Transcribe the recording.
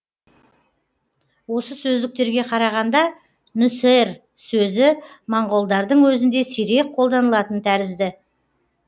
осы сөздіктерге қарағанда нүсэр сөзі моңғолдардың өзінде сирек қолданылатын тәрізді